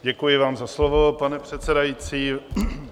Děkuji vám za slovo, pane předsedající.